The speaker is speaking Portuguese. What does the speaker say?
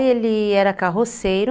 Ele era carroceiro.